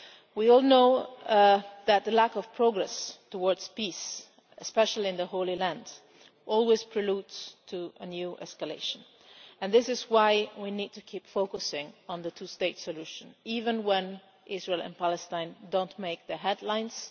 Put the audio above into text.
We all know that the lack of progress towards peace, especially in the Holy Land, is always a prelude to a new escalation, and this is why we need to keep focusing on the two state solution, even when Israel and Palestine do not make the headlines.